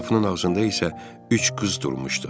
Qapının ağzında isə üç qız durmuşdu.